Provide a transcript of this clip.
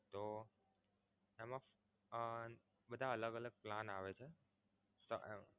તો એમા અમ બધા અલગ અલગ plan આવે છે.